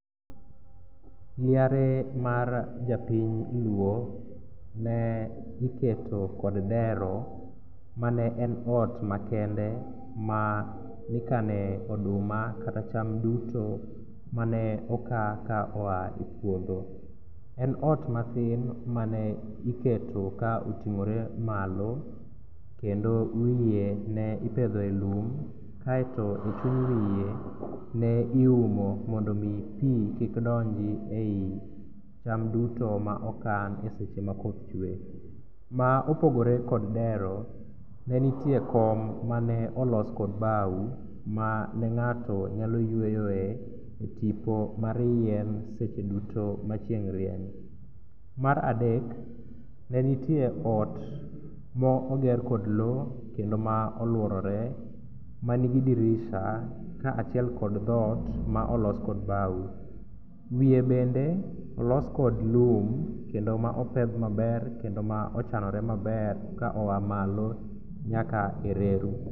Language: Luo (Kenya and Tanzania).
Liare mar japiny luo ne iketo kod dero mane en ot makende manikane oduma kata cham duto mane oka ka oa e puodho. En ot mathin mane iketo ka oting'ore malo kendo wiye ne ipedhoe lum kaeto e chuny wiye ne iumo mondo omi pi kik donji e i cham duto ma okan seche ma koth chwe. Ma opogore kod dero ne nitie kom maneolos kod bao mane ng'ato nyaloyweyoe e tipo mar yien seche duto ma chieng' rieny. Mar adek ne nitie ot moger kod lo kendo ma oluorore manigi dirisha kaachiel kod dhot ma olos kod bao, wiye bende olos kod lum kendo ma opedh maber kendo ma ochanore maber kaoa malo nyaka e reru.